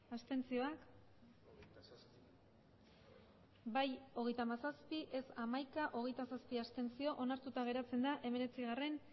abstenzioak emandako botoak hirurogeita hamabost bai hogeita hamazazpi ez hamaika abstentzioak hogeita zazpi onartuta geratzen da hemeretzigarrena